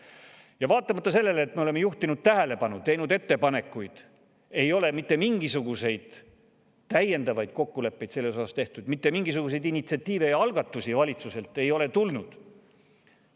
Ja vaatamata sellele, et me oleme juhtinud tähelepanu ja teinud ettepanekuid, ei ole mitte mingisuguseid täiendavaid kokkuleppeid selle kohta tehtud, mitte mingisuguseid initsiatiive ega algatusi valitsusest tulnud.